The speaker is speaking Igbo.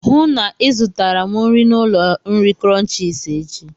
Hụụ na Ị zụtara m nri na ụlọ nri Crunchies échi!